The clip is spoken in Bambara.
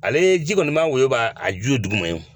Ale ye ji kɔni ma woyo ban a ju ye duguma ye